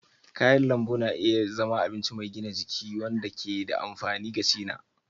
Kayan lambu na iya zama abinci mai gina jiki wanda ke da amfani gaci na.